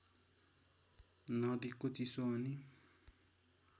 नदीको चिसो अनि